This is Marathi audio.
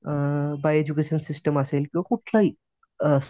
अ बाय एडज्युकेशन सिस्टिम असेल किंवा काहीही. अ